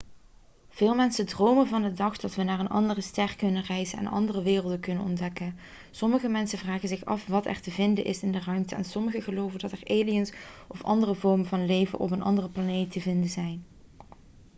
veel mensen dromen van de dag dat we naar een andere ster kunnen reizen en andere werelden kunnen ontdekken sommige mensen vragen zich af wat er te vinden is in de ruimte en sommigen geloven dat er aliens of andere vormen van leven op een andere planeet te vinden zijn